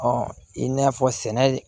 i n'a fɔ sɛnɛ